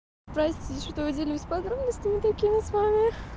простите что я делюсь подробностями такими с вами